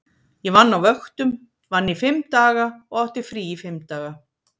Ég vann á vöktum, vann í fimm daga og átti frí í fimm daga.